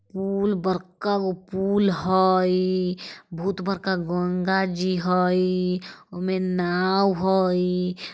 पुल बड़का गो पुल हई बहुत बड़का गंगा जी हई उ में नाव है।